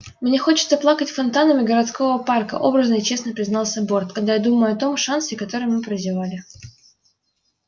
мне хочется плакать фонтанами городского парка образно и честно признался борт когда я думаю о том шансе который мы прозевали